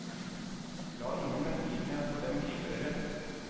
La ingen medlidenhet for dem gripe dere.